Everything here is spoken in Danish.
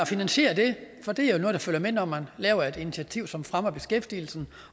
finansiere det for det er jo noget der følger med når man laver et initiativ som fremmer beskæftigelsen